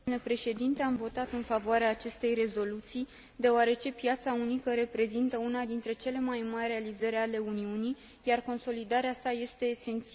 Am votat în favoarea acestei rezoluții, deoarece piața unică reprezintă una dintre cele mai mari realizări ale Uniunii, iar consolidarea sa este esențială.